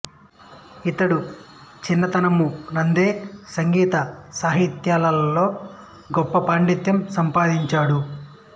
ఇతడు చిన్నతనము నందే సంగీత సాహిత్యాలలో గొప్ప పాండిత్యం సంపాదించాడు